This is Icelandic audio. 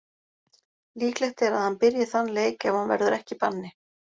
Líklegt er að hann byrji þann leik ef hann verður ekki í banni.